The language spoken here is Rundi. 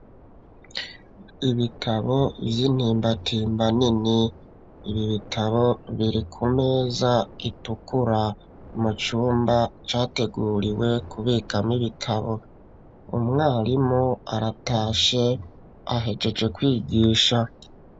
Ibitabo vy'intimbatimba nini, ibi bitabo biri ku meza itukura mu cumba categuriwe kubikamwo ibitabo umwarimu aratashe ahejeje kwigisha.